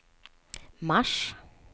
mars